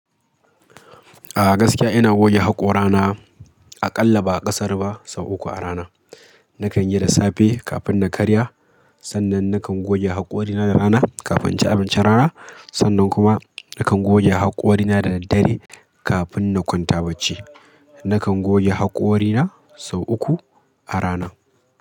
A gaskiya ina goge haƙora na aƙalla ba ƙasar ba sau uku a rana. Nakan yi da safe kafin na karya, sannan nakan goge haƙorina da rana kafin inci abincin rana, sannan kuma nakan goge haƙorina da daddare kafin na kwanta bacci. Nakan goge haƙorina sau uku a rana.